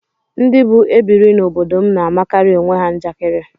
Ndị bụ ebiri n'obodo m na-amakarị onwe ha njakịrị